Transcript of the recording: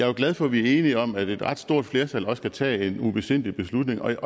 jo glad for at vi er enige om at et ret stort flertal også kan tage en ubesindig beslutning og jeg